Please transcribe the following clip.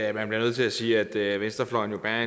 at man bliver nødt til at sige at venstrefløjen jo bærer